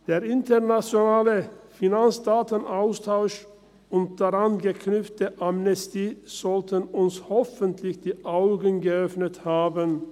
Der internationale Finanzdatenaustausch, und daran geknüpft, die Amnestie, sollten uns hoffentlich die Augen geöffnet haben.